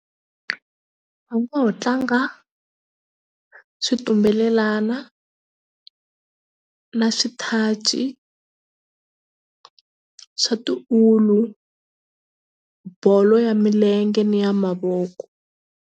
Va ngo ho tlanga switumbelelana na swithaci swa tiulu bolo ya milenge ni ya mavoko.